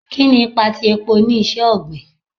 Kini ipa ti epo ni iṣẹ-ogbin